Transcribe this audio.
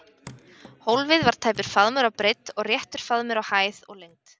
Hólfið var tæpur faðmur á breidd og réttur faðmur á hæð og lengd.